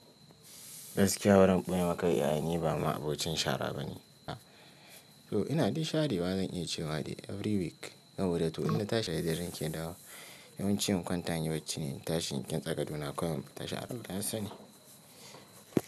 Gaskiya baran ɓoyemaka yaya niba ma abocin shara ba ne. To ina dai sharewa zan iya cewa dai every week saboda to in natashi da daddare nake dawowa. Yawanci in kwanta inyi bacci ne intashi, in ƙintsa gadona kawai infita sha ta sani.